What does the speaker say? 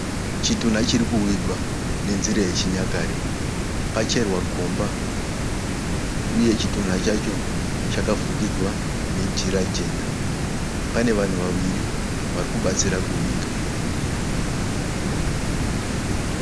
Chitunha chiri kuvigwa nenzira yechinyakare. Pacherwa gomba uye chitunha chacho chakafukidzwa nejira jena. Pane vanhu vaviri vari kubatsira kuviga.